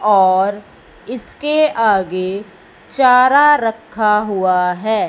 और इसके आगे चारा रखा हुआ है।